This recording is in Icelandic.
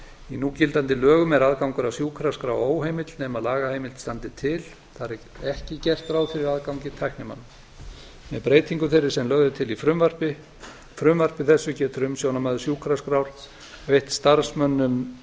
í núgildandi lögum er aðgangur að sjúkraskrá óheimill nema lagaheimild standi til þar er ekki gert ráð fyrir aðgangi tæknimanna með breytingu þeirri sem lögð er til í frumvarpi þessu getur umsjónarmaður sjúkraskrár veitt starfsmönnum